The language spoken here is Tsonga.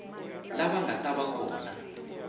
lava nga ta va kona